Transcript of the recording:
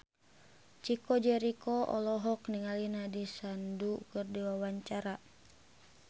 Chico Jericho olohok ningali Nandish Sandhu keur diwawancara